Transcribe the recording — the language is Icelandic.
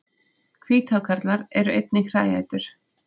Hvíthákarlar eru einnig hræætur.